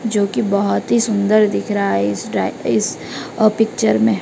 जो की बहोत ही सुंदर दिख रहा है इस टा इस अ पिक्चर में--